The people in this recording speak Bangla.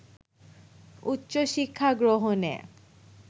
উচ্চশিক্ষা গ্রহণে